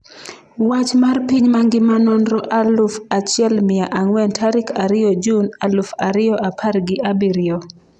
Wach mar piny mangima Nonro aluf achiel mia ang'wen tarik ariyo jun aluf ariyo apar gi abirio